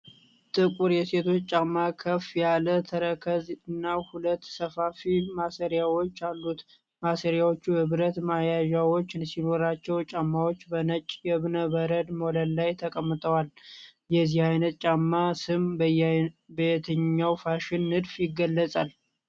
ጥቁር የሴቶች ጫማ ከፍ ያለ ተረከዝ እና ሁለት ሰፋፊ ማሰሪያዎች አሉት። ማሰሪያዎቹ የብረት መያዣዎች ሲኖሯቸው፣ ጫማዎቹ በነጭ የእብነ በረድ ወለል ላይ ተቀምጠዋል። የዚህ ዓይነት ጫማ ስም በየትኛው የፋሽን ንድፍ ይገለጻል?